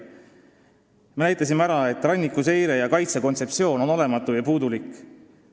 Me näitasime ära, et rannikuseire ja -kaitse kontseptsioon on olematu ja puudulik.